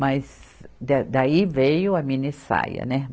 Mas da, daí veio a mini saia, né?